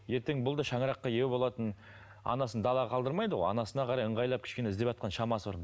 ертең бұл да шаңыраққа ие болатын анасын далаға қалдырмайды ғой анасына қарай ыңғайлап кішкене іздеватқан шамасы бар